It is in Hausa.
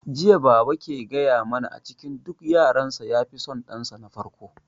Jiya baba ke gaya mana a cikin duk yaran sa ya fi son dan sa na farko